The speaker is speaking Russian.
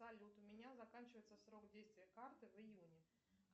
салют у меня заканчивается срок действия карты в июне